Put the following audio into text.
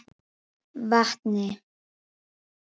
Vatni